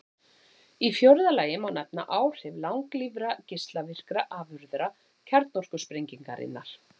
Í fjórða lagi má nefna áhrif langlífra geislavirkra afurða kjarnorkusprengingarinnar.